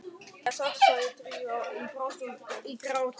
En það er satt sagði Drífa og brast í grát.